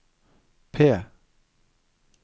P